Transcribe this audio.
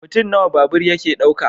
Mutum nawa babur yake dauka?